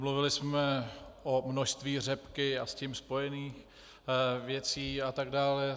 Mluvili jsme o množství řepky a s tím spojených věcí a tak dále.